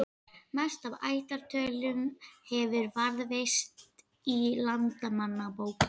Mest af ættartölum hefur varðveist í Landnámabók.